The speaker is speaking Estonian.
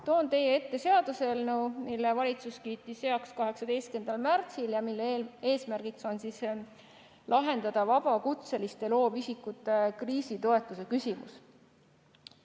Toon teie ette seaduseelnõu, mille valitsus kiitis heaks 18. märtsil ja mille eesmärk on lahendada vabakutseliste loovisikute kriisitoetuse küsimus.